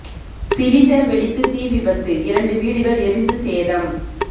cylinder வெடித்து தீ விபத்து இரண்டு வீடுகள் எரிந்து சேதம்